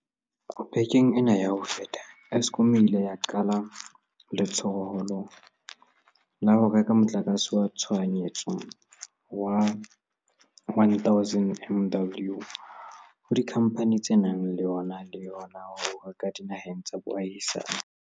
Bekeng ena ya ho feta, Eskom e ile ya qala letsholo la ho reka motlakase wa tshohanyetso wa 1 000 MW ho dikhamphane tse nang le ona le hona ho o reka dinaheng tsa boahisane.